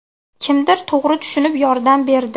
Kimdir to‘g‘ri tushunib yordam berdi.